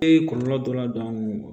Ee kɔlɔlɔ dɔ ladon